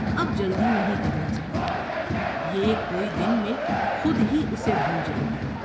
اب جلدی نہیں کرنی چاہیے یہ کوئی دن میں خود ہی اسے بھول جائے گی ۔